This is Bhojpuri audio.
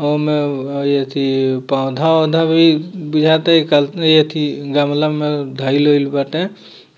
हउ में अअअ एथी पौधा औधा भी बुझाता की काल्प एथी गमला में धैल अइल बाटे |